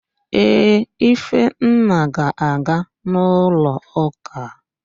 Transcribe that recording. Ee, Ifenna ga-aga n'ụlọụ́kà.